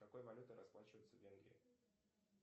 какой валютой расплачиваются в венгрии